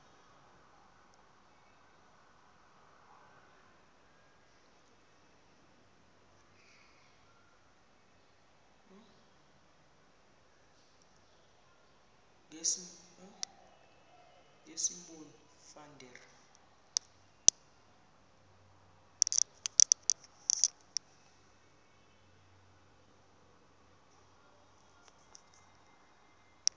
ngosimon van der